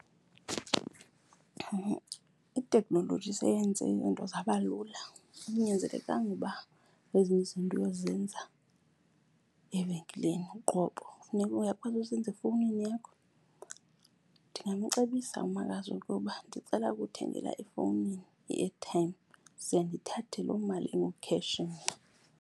Itekhnoloji seyenze izinto zaba lula. Akunyanzelekanga uba ezinye izinto uyozenza evenkileni uqobo, uyakwazi uzenza efowunini yakho. Ndingamcebisa umakazi ukuba ndicela ukumthengela efowunini i-airtime ze ndithathe loo mali engu-cash mna.